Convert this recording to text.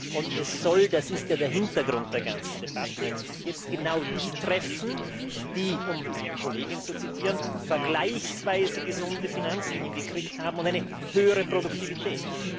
Und es soll das ist ja der Hintergrund der ganzen Debatte jetzt genau die treffen, die um eine Kollegin zu zitieren vergleichsweise gesunde Finanzen hinbekommen haben und eine höhere Produktivität.